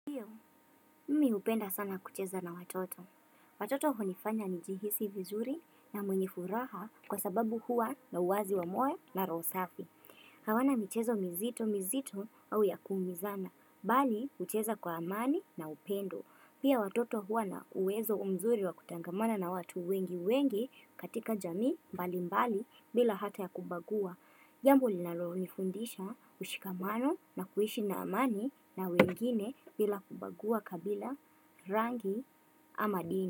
Hiyo, mimi hupenda sana kucheza na watoto. Watoto hunifanya ni jihisi vizuri na mwenye furaha kwa sababu hua na uwazi wa moyo na roho safi. Hawana michezo mizito mizito au ya kuumizana, bali hucheza kwa amani na upendo. Pia watoto huwa na uwezo umzuri wa kutangamana na watu wengi wengi katika jamii mbali mbali bila hata ya kubagua. Jambo linalonifundisha ushikamano na kuishi na amani na wengine bila kubagua kabila rangi ama dini.